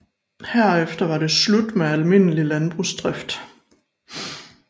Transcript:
Herefter var det slut med almindelig landbrugsdrift